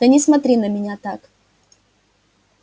да не смотри на меня так